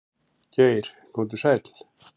Geir komdu sæll.